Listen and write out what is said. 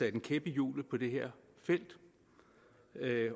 en kæp i hjulet på det her felt